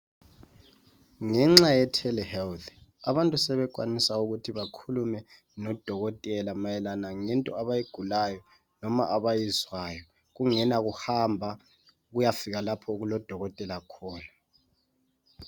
Ngenxa yempucuko ephambili yakulezinsuku. Ngelokwebolekwa sithi yiTelhealth. Abantu sebesenelisa ukuxoxisana lodokotela, ngomkhuhlane obahluphayo. Bengayanga lapha okulodokotela khona.